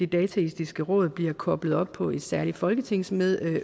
dataetiske råd bliver koblet op på et særligt folketingsudvalg